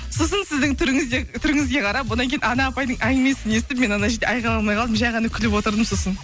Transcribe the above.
сосын сіздің түріңізге қарап одан кейін ана апайдың әңгімесін естіп мен ана жерде айқайламай қалдым жай ғана күліп отырдым сосын